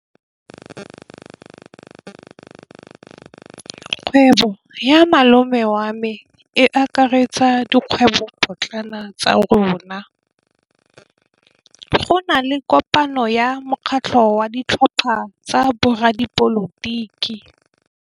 Kgwêbô ya malome wa me e akaretsa dikgwêbôpotlana tsa rona. Go na le kopanô ya mokgatlhô wa ditlhopha tsa boradipolotiki.